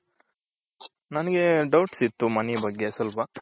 ನನ್ಗೆ doubts ಇತ್ತು money ಬಗ್ಗೆ ಸ್ವಲ್ಪ.